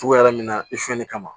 Togoya min na i fiyɛli kama